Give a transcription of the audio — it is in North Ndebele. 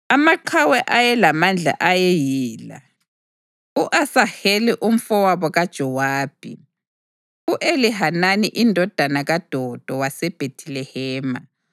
Amaqhawe ayelamandla ayeyila: u-Asaheli umfowabo kaJowabi, u-Elihanani indodana kaDodo waseBhethilehema,